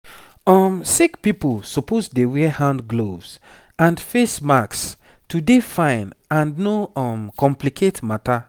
um sick pipo suppose dey wear hand gloves and face masks to dey fine and no um complicate matter